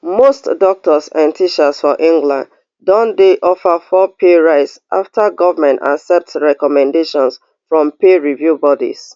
most doctors and teachers for england don dey offered four pay rise after government accept recommendations from pay review bodies